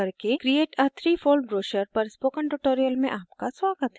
inkscape प्रयोग करके create a 3fold brochure पर spoken tutorial में आपका स्वागत है